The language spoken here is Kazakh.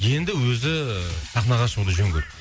енді өзі сахнаға шығуды жөн көрді